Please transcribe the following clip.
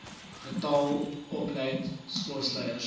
getal opgeleide sportleiers